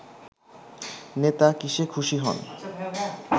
নেতা কিসে খুশি হন